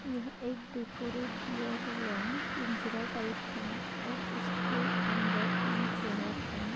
यह एक डेकोरेट किया हुआ पिंजरा टाइप है और उसके अंदर तीन चेअर है।